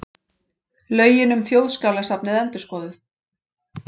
Lögin um Þjóðskjalasafnið endurskoðuð